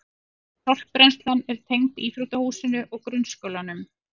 Sorpbrennslan er tengd íþróttahúsinu og grunnskólanum